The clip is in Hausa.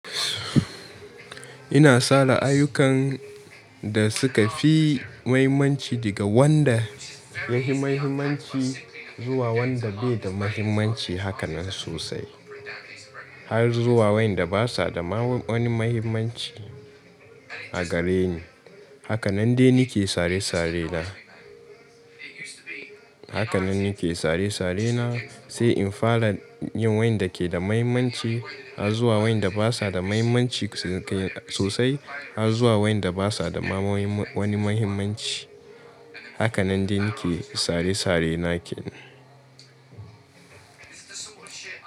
Ina sa la'ayukan da suka fi mahimmanci daga wanda ya fi mahimmanci zuwa wanda bai da mahimmanci hakanan sosai, har zuwa wanda basa da ma wani mahimmanci a gare ni. Hakanan de nake sare-sare na. Hakanan nake sare-sare na, sai in fara yin wanda ke da mahimmanci har zuwa wanda basa da mahimmanci sosai har zuwa wanda basa da ma wani mahimmanci. Hakanan de nake sare-sare nake.